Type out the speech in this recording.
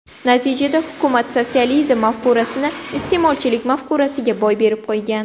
Natijada hukumat sotsializm mafkurasini iste’molchilik mafkurasiga boy berib qo‘ygan.